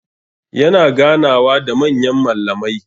Yana ganawa da manyan mallamai.